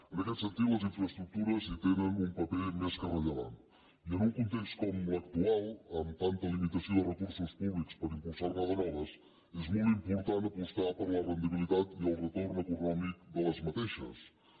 en aquest sentit les infraestructures hi tenen un paper més que rellevant i en un context com l’actual amb tanta limitació de recursos públics per impulsar ne de noves és molt important apostar per la rendibilitat i el retorn econòmic d’aquestes infraestructures